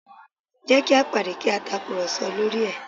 Jẹ́ kí a pàdé kí a tàkùrọ̀sọ lórí ẹ̀